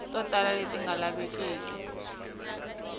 to tala leti nga lavekeki